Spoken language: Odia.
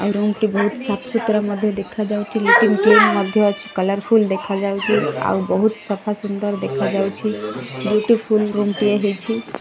ଆଉ ରୁମ୍ ଟି ଭଉତ୍ ସାପ୍ ସୁତୁରା ମଧ୍ୟ ଦେଖାଯାଉଚି ଲିଟିନ୍ କ୍ଲିନ୍ ମଧ୍ୟ ଅଛି କଲର୍ ଫୁଲ୍ ଦେଖାଯାଉଚି ଆଉ ବହୁତ ସଫା ସୁନ୍ଦର ଦେଖାଯାଉଛି ବିୟୁଟିଫୁଲ ରୁମ୍ ଟିଏ ହେଇଛି।